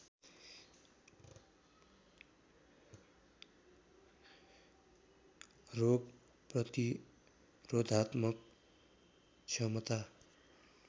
रोग प्रतिरोधात्मक क्षमता